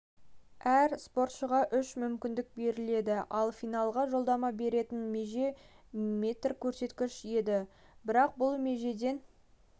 спортшыға үш мүмкіндіктен беріледі ал финалға жолдама беретін меже метр көрсеткіш еді бірақ бұл межеден